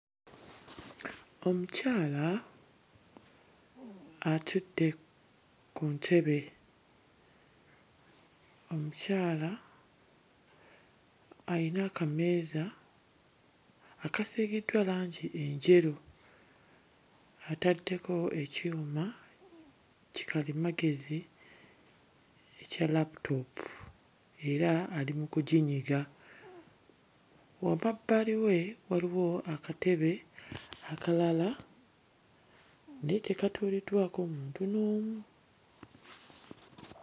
Omukyala atudde ku ntebe. Omukyala ayina akameeza akasiigiddwa langi enjeru, ataddeko ekyuma kikalimagezi ekya laputoopu era ali mu kuginyiga. Wamabbali we waliwo akatebe akalala naye tekatuuliddwako muntu n'omu.